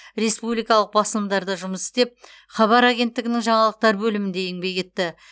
республикалық басылымдарда жұмыс істеп хабар агенттігінің жаңалықтар бөлімінде еңбек етті